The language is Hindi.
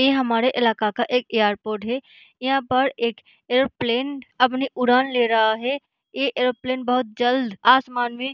ये हमारे ईलाके का एक एअरपोर्ट है यहाँ पर एक एयरोप्लेन अपनी उड़ान ले रहा है ये एयरोप्लेन बहुत जल्द आसमान में --